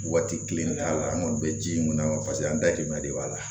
Waati kelen de y'a la an kɔni bɛ ji mun na paseke an datigɛ de b'a la